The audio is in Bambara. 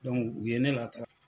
u ye ne lataa.